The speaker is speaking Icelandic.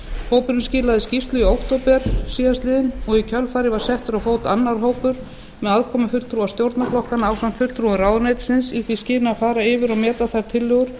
hópurinn skilaði skýrslu í október síðastliðinn og í kjölfarið var settur á fót annar hópur með aðkomu fulltrúa stjórnarflokkanna ásamt fulltrúum ráðuneytisins í því skyni að fara yfir og meta þær tillögur